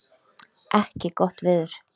ekki gott veður.